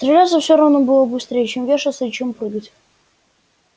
стреляться всё равно быстрей чем вешаться и чем прыгать